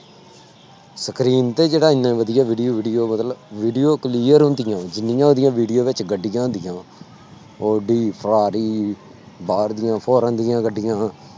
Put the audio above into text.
Screen ਤੇ ਜਿਹੜਾ ਇੰਨੇ ਵਧੀਆ video clear ਹੁੰਦੀਆਂ ਜਿੰਨੀਆਂ ਉਹਦੀਆਂ video ਵਿੱਚ ਗੱਡੀਆਂ ਹੁੰਦੀਆਂ ਵਾਂ, ਓਡੀ, ਫਰਾਰੀ, ਬਾਹਰ ਦੀਆਂ foreign ਦੀਆਂ ਗੱਡੀਆਂ